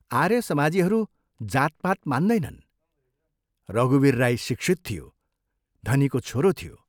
आर्यसमाजीहरू जातपात मान्दैनन्, रघुवीर राई शिक्षित थियो, धनीको छोरो थियो।